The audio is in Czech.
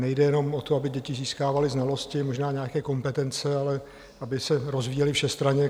Nejde jenom o to, aby děti získávaly znalosti, možná nějaké kompetence, ale aby se rozvíjely všestranně.